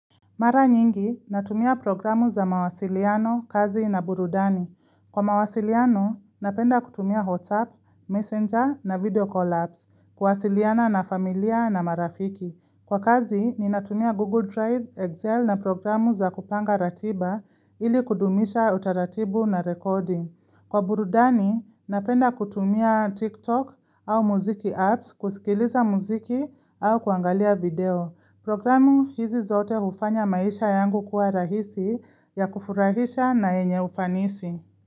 Mara nyingi, natumia programu za mawasiliano, kazi na burudani. Kwa mawasiliano, napenda kutumia WhatsApp, messenger na video call apps, kuwasiliana na familia na marafiki. Kwa kazi, ni natumia Google Drive, Excel na programu za kupanga ratiba ili kudumisha utaratibu na rekodi. Kwa burudani, napenda kutumia TikTok au muziki apps, kusikiliza muziki au kuangalia video. Programu hizi zote ufanya maisha yangu kuwa rahisi ya kufurahisha na yenye ufanisi.